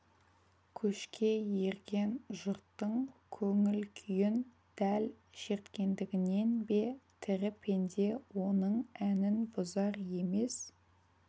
көшке ерген жұрттың көңіл-күйін дәл шерткендігінен бе тірі пенде оның әнін бұзар емес